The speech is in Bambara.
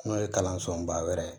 N'o ye kalansoba wɛrɛ ye